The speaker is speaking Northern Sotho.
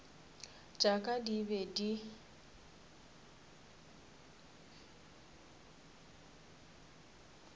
tša ka di be di